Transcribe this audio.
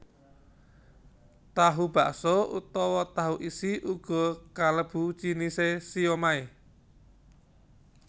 Tahu bakso utawa tahu isi uga kalebu jinisé siomai